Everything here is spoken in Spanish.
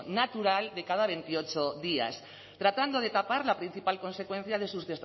natural de cada veintiocho días tratando de tapar la principal consecuencia de sus